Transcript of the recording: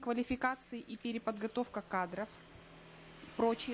квалификации и переподготовка кадров прочие